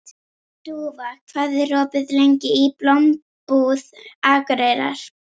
Dúfa, hvað er opið lengi í Blómabúð Akureyrar?